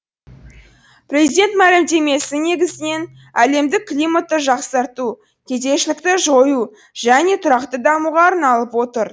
президент мәлімдемесі негізінен әлемдік климатты жақсарту кедейшілікті жою және де тұрақты дамуға арналып отыр